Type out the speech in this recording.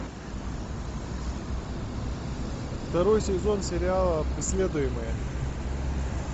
второй сезон сериала преследуемые